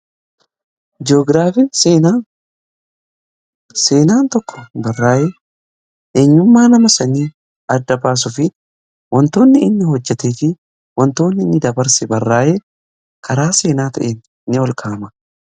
Ji'ogiraafii fi seenaa: Seenaan tokko barraa'ee eenyummaa nama sanii adda baasuu fi wantoonni inni hojjetee fi wantoonni inni dabarse barraa'ee karaa seenaa ta'een ni ol kaa'ama.